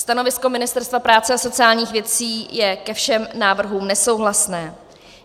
Stanovisko Ministerstva práce a sociálních věcí je ke všem návrhům nesouhlasné.